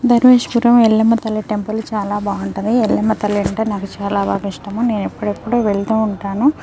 ధర్మేష్పురం ఎల్లమ్మ తల్లి టెంపుల్ చాలా బాగుంటది ఎల్లమ్మ తల్లి అంటే నాకు చాల బాగా ఇష్టము నేను ఎప్పుడెప్పుడు వెళ్తుంటాను.